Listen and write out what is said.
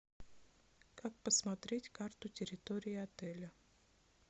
как посмотреть карту территории отеля